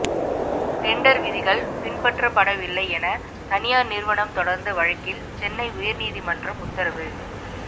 tender விதிகள் பின்பற்றப்படவில்லை என தனியார் நிறுவனம் தொடர்ந்த வழக்கில் சென்னை உயர் நீதிமன்றம் உத்தரவு